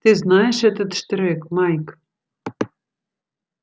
ты знаешь этот штрек майк